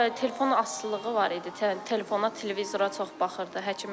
Bəli, telefon asılılığı var idi, telefona, televizora çox baxırdı.